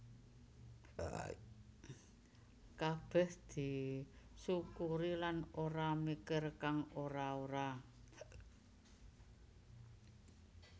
Kabeh disukuri lan ora mikir kang ora ora